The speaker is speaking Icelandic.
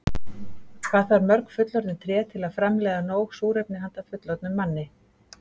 Hvað þarf mörg fullorðin tré til að framleiða nóg súrefni handa fullorðnum manni?